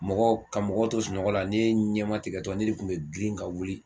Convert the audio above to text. Mɔgɔ ka mɔgɔw to sunɔgɔ la ne ɲɛma tigɛtɔ ne de kun be girin ka wuli